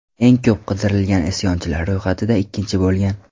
Eng ko‘p qidirilgan isyonchilar ro‘yxatida ikkinchi bo‘lgan.